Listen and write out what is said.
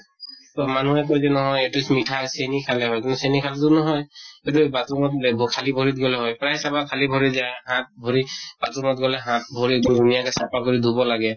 তʼ মানুহে কয় যে নহয়, এইটো মিঠা চেনি খালে হয় । কিন্তু চেনি খালে তো নহয় । কিন্তু bathroom ত যে খালী ভৰি দি গʼলে হয় । প্ৰায় চাবা খালী ভৰি দি যায়। হাত ভৰি bathroom ত গলে হাত ভৰি ধুনীয়াকে চাফা কৰি ধুব লাগে।